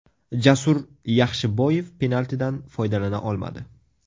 Jasur Yaxshiboyev penaltidan foydalana olmadi.